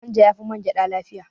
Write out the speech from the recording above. Manja ya fi man gyaɗa lafiya